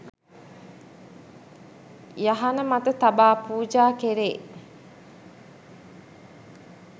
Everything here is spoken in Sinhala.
යහන මත තබා පූජා කෙරේ